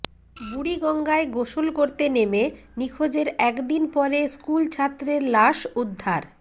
বুড়িগঙ্গায় গোসল করতে নেমে নিখোঁজের একদিন পরে স্কুল ছাত্রের লাশ উদ্ধার